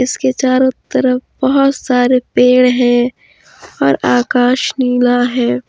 उसके चारों तरफ बहुत सारे पेड़ है और आकाश नीला है।